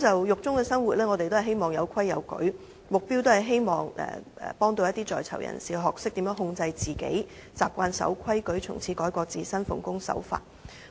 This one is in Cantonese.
獄中生活要有秩序，是希望幫助在獄人士學懂控制自己，習慣遵守規矩，從此改過自新，奉公守法。